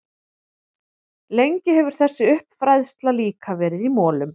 Lengi hefur þessi uppfræðsla líka verið í molum.